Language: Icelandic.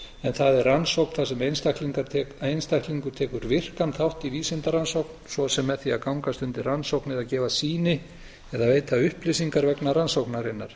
en það er rannsókn þar sem einstaklingur tekur virkan þátt í vísindarannsókn svo sem með því að gangast undir rannsókn eða gefa sýni eða veita upplýsingar vegna rannsóknarinnar